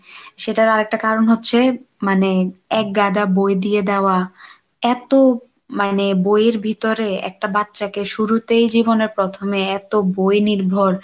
সেটার আরেকটা কারণ হচ্ছে মানে একগাদা বই দিয়ে দেওয়া এতো মানে বইয়ের ভিতরে একটা বাচ্চাকে শুরুতেই জীবনের প্রথমে এতো বই নির্ভর,